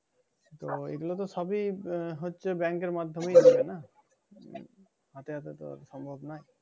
হ্যাঁ এইগুলো তো সবি আহ হচ্ছে bank এর মাধ্যেমে হয় না? সাথে সাথে তো সম্ভাব নয়।